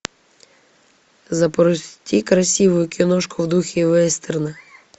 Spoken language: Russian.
запусти красивую киношку в духе вестерна